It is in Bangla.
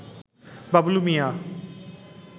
বাবলু মিয়া